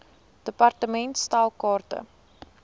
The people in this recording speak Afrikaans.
department stel kaarte